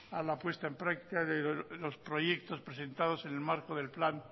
a la puesta en práctica de los proyectos presentados en el marco del plan